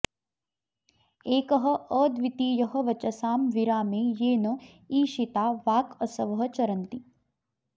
एकः अद्वितीयः वचसां विरामे येन ईशिता वाक् असवः चरन्ति